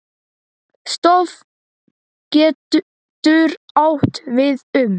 Stofn getur átt við um